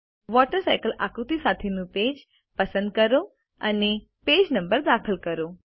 water cycle આકૃતિ સાથેનું page પસંદ કરો અને પેજ નંબર દાખલ કરો